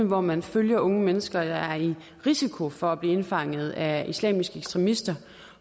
hvor man følger unge mennesker der er i risiko for at blive indfanget af islamiske ekstremister og